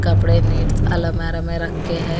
कपड़े अलमारी में रख के हैं।